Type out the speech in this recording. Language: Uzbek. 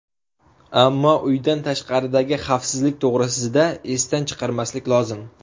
Ammo, uydan tashqaridagi xavfsizlik to‘g‘risida esdan chiqarmaslik lozim.